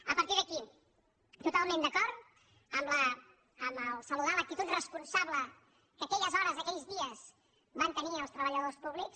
a partir d’aquí totalment d’acord amb el fet de saludar l’actitud responsable que aquelles hores aquells dies van tenir els treballadors públics